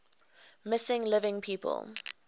missing living people